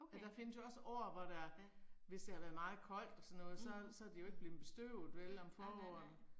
Okay. Ja. Mh. Nej nej nej